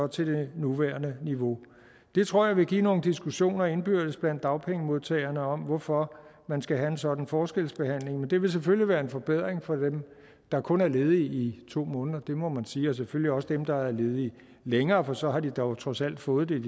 til det nuværende niveau det tror jeg vil give nogle diskussioner indbyrdes blandt dagpengemodtagerne om hvorfor man skal have en sådan forskelsbehandling men det vil selvfølgelig være en forbedring for dem der kun er ledige i to måneder det må man sige og selvfølgelig også for dem der er ledige længere for så har de dog trods alt fået det